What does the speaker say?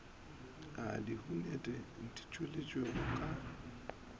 a diyuniti di tšweleditšwego ka